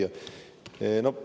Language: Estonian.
Hea küsija!